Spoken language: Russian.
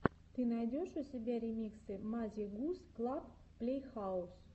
ты найдешь у себя ремиксы мазе гус клаб плейхаус